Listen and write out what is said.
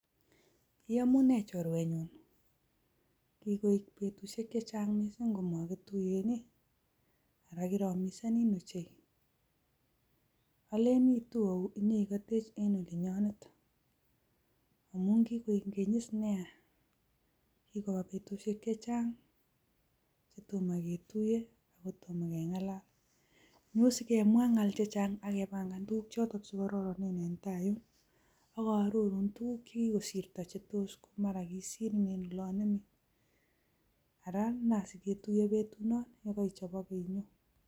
Iyomunee chorwenyun, kikoik betusiek chechang komokituuye, ak kiromisenin ochei, Olen iitu ou inyon ikotech en olinyonet ingen kikoik keny is nia. Kikoba betusiek chechang kotomoketuiyee, oko tomokengalal nyon sikemwa ngal chechangq ak kebangan tuguuk choton che kororonen. Ak amwoun chekikosirto chekimakimwa en simoit, ara nan siketuiyen betunon yekeichobege inyoon.